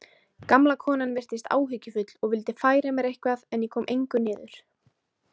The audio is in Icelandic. Gamla konan virtist áhyggjufull og vildi færa mér eitthvað en ég kom engu niður.